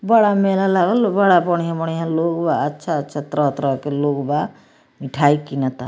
बड़ा मेला लागला बड़ा बढ़ियां-बढ़ियां लोग बा अच्छा-अच्छा तरह-तरह के लोग बा मिठाई किनता।